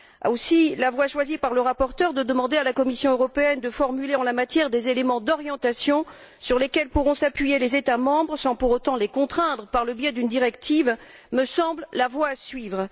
Aussi, la voie choisie par le rapporteur consistant à demander à la Commission de formuler en la matière des éléments d'orientation sur lesquels pourront s'appuyer les États membres, sans pour autant les contraindre par le biais d'une directive, me semble la voie à suivre.